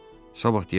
Sabah deyərəm.